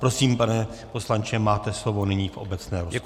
Prosím, pane poslanče, máte slovo nyní v obecné rozpravě.